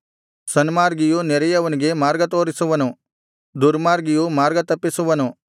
ಸನ್ಮಾರ್ಗಿಯು ನೆರೆಯವನಿಗೆ ಮಾರ್ಗತೋರಿಸುವನು ದುರ್ಮಾರ್ಗಿಯು ಮಾರ್ಗತಪ್ಪಿಸುವನು